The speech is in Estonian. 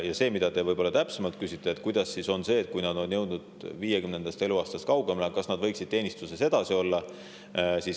Te võib-olla soovite täpsemalt teada, kuidas on sellega, et kui nad on jõudnud 50. eluaastast kaugemale, kas nad siis võiksid teenistuses edasi olla.